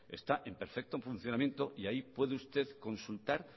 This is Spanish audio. está en perfecto funcionamiento y ahí puede usted consultar